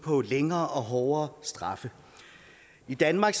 længere og hårdere straffe i danmark